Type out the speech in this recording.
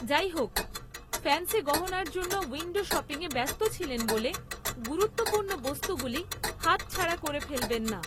যাইহোক, ফ্যান্সি গহনার জন্য উইন্ডো শপিংয়ে ব্যস্ত ছিলেন বলে গুরুত্বপূর্ণ বস্তুগুলি হাত ছাড়া করে ফেলবেন না।